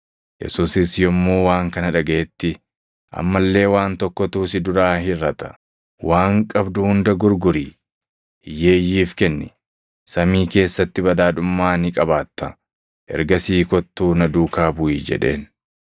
Yesuusis yommuu waan kana dhagaʼetti, “Amma illee waan tokkotu si duraa hirʼata; waan qabdu hunda gurgurii hiyyeeyyiif kenni; samii keessatti badhaadhummaa ni qabaattaa. Ergasii kottuu na duukaa buʼi” jedheen.